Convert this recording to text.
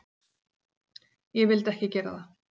Ég vildi ekki gera það.